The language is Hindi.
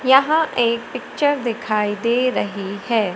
यहां एक पिक्चर दिखाई दे रही है।